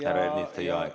Härra Ernits, teie aeg.